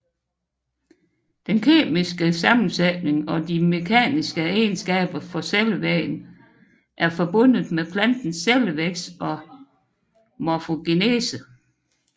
Den kemiske komposition og de mekaniske egenskaber for cellevæggen er forbundet med plantens cellevækst og morfogenese